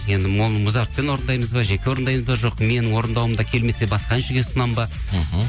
енді оны музартпен орындаймыз ба жеке орындаймыз ба жоқ менің орындауымда келмесе басқа әншіге ұсынамын ба мхм